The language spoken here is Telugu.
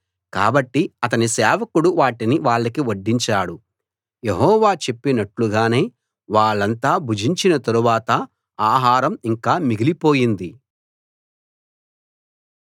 కాబట్టి అతని సేవకుడు వాటిని వాళ్ళకి వడ్డించాడు యెహోవా చెప్పినట్లుగానే వాళ్ళంతా భుజించిన తరువాత ఆహారం ఇంకా మిగిలి పోయింది